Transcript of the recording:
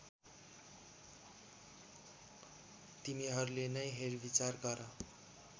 तिमीहरूले नै हेरविचार गर